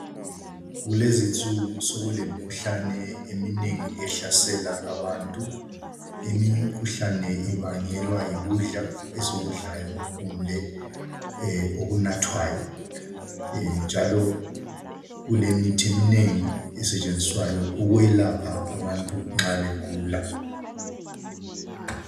Kulezinsuku sokulemikhuhlane eminengi ehlasela abantu, eminye imikhuhlane ibangelwa yikudla esikudlayo kumbe okunathwayo njalo kulemithi eminengi esetshenziswayo ukwelapha abantu nxa begula.